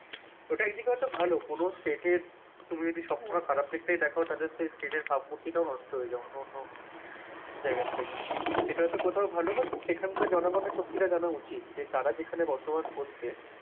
ওটা একদিকে আবার এটা ভালো কোন state এর তুমি যদি সবসময় খারাপ দিকটাই দেখো তাহলে সেই state এর ভাবমূর্তিটাও নষ্ট হয়ে যায়, অনান্য জায়গা থেকে। সেটা হয়তো কোথাও ভালো but সেখানকার জনগণের সত্যিটা জানা উচিত। যে তারা যেখানে বসবাস করছে,